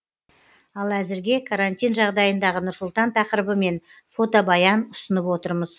ал әзірге карантин жағдайындағы нұр сұлтан тақырыбымен фотобаян ұсынып отырмыз